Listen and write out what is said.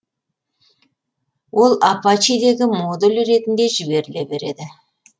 ол арасһе дегі модуль ретінде жіберіле береді